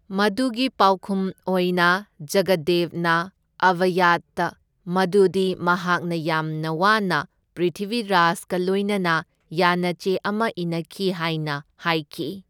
ꯃꯗꯨꯒꯤ ꯄꯥꯎꯈꯨꯝ ꯑꯣꯏꯅ ꯖꯒꯗꯗꯦꯕꯅ ꯑꯚꯥꯌꯥꯗꯇꯥ ꯃꯗꯨꯗꯤ ꯃꯍꯥꯛꯅ ꯌꯥꯝꯅ ꯋꯥꯅ ꯄ꯭ꯔꯤꯊꯤꯚꯤꯔꯥꯖꯒ ꯂꯣꯢꯅꯅ ꯌꯥꯅꯆꯦ ꯑꯃ ꯏꯅꯈꯤ ꯍꯥꯏꯅ ꯍꯥꯏꯈꯤ꯫